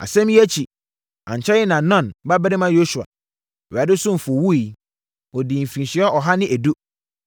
Asɛm yi akyi, ankyɛre na Nun babarima Yosua, Awurade ɔsomfoɔ wuiɛ. Ɔdii mfirinhyia ɔha ne edu.